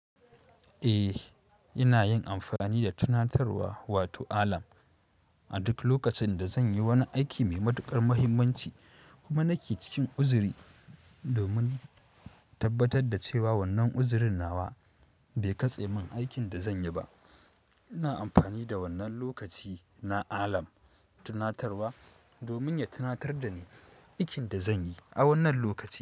Eh, ina yin amfani da tunatarwa wato alam a duk lokacin da zan yi wani aiki mai matuƙar mahimmanci kuma nake cikin uzuri domin tabbatar da cewa wannan uzurin nawa bai katse min aikin da zan yi ba. Ina amfani da wannan lokaci na alam tunatarwa domin ya tunatar da ni aikin da zan yi a wannan lokaci.